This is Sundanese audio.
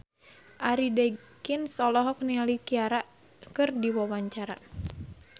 Arie Daginks olohok ningali Ciara keur diwawancara